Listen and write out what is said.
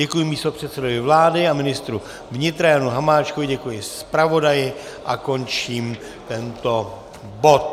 Děkuji místopředsedovi vlády a ministru vnitra Janu Hamáčkovi, děkuji zpravodaji a končím tento bod.